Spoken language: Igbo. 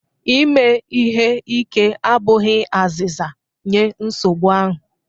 Ime ihe ike abụghị azịza nye nsogbu ahụ